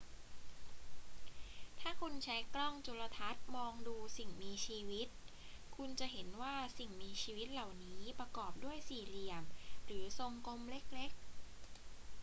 ถ้าคุณใช้กล้องจุลทรรศน์มองดูสิ่งมีชีวิต คุณจะเห็นว่าสิ่งมีชีวิตเหล่านี้ประกอบด้วยสี่เหลี่ยมหรือทรงกลมเล็ก ๆ